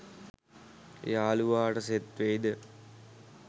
යලුවාට set වෙයිද